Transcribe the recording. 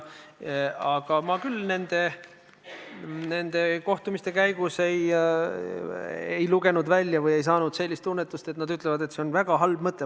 Aga ma küll nende kohtumiste käigus ei lugenud nende jutust välja või ei tunnetanud nende arvamust, et see on väga halb mõte.